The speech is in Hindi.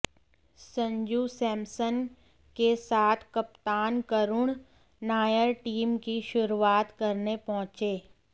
संजू सैमसन के साथ कप्तान करूण नायर टीम की शुरूआत करने पहुंचे